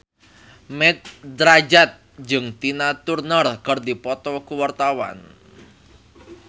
Mat Drajat jeung Tina Turner keur dipoto ku wartawan